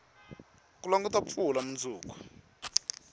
ku languta mpfula munduku